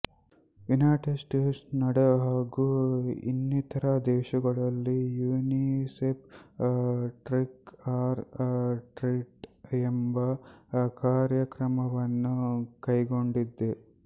United states Canada ಹಾಗು ಇನ್ನಿತರ ದೇಶಗಳಲ್ಲಿ ಯುನಿಸೆಫ್ ಟ್ರಿಕ್ ಆರ್ ಟ್ರಿಟ್ಎಂಬ ಕಾರ್ಯಕ್ರಮವನ್ನು ಕೈಗೊಂಡಿದೆ